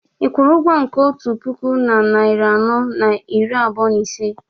ị kwụrụ ụgwọ nke otu puku na narị anọ na iri abụọ na ise